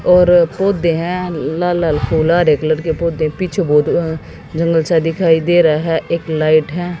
और पौधे हैं लाल लाल फूल हरे कलर के पौधे पीछे बहुत अ जंगल आ दिखाई दे रहा है एक लाइट है।